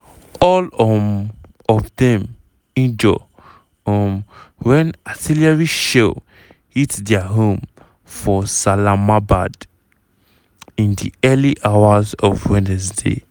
all um of dem injure um wen artillery shell hit dia home for salamabad in di early hours of wednesday.